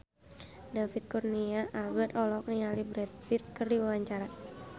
David Kurnia Albert olohok ningali Brad Pitt keur diwawancara